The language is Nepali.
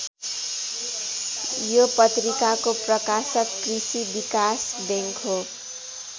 यो पत्रिकाको प्रकाशक कृषि विकास बैङ्क हो।